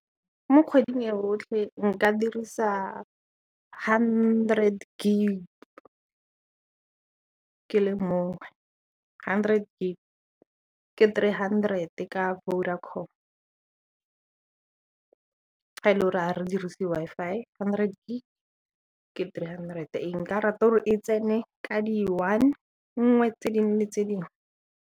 Mo kgweding e rotlhe nka dirisa hundred gig ke le mongwe, hundred gig ke three hundred ka Vodacom fa e le ga re dirise Wi-Fi, hundred gig ke three hundred, nka rata e tsene ka di one nngwe tse dinngwe le tse dingwe.